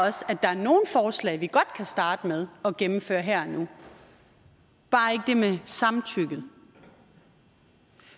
også at vi godt kan starte med at gennemføre her og nu bare ikke det med samtykke